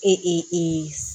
Ee